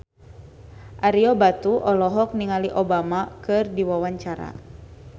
Ario Batu olohok ningali Obama keur diwawancara